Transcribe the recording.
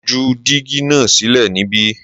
Mo ju dígí náà sílẹ̀ níbí